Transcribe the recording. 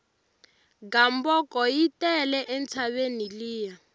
gamboko yi tele entshaveni liya